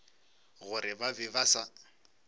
gore ba be ba sa